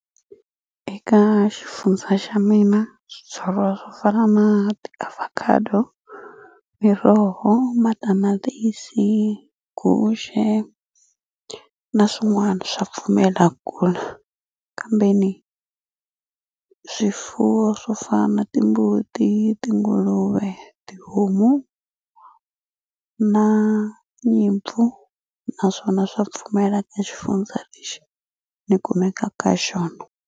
Eka xifundza xa mina swibyariwa swo fana na tiavocado miroho matamatisi guxe na swin'wani swa pfumela kula kambeni swifuwo swo fana na timbuti tinguluve tihomu na nyimpfu naswona swa pfumela ka xifundza lexi ni kumeka ka xona.